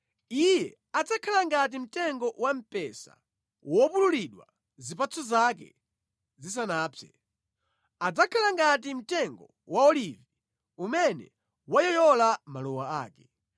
Iye adzakhala ngati mtengo wamphesa wopululidwa zipatso zake zisanapse, adzakhala ngati mtengo wa olivi umene wayoyola maluwa ake.